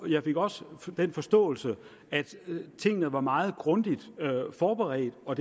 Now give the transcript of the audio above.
jeg fik også den forståelse at tingene var meget grundigt forberedt og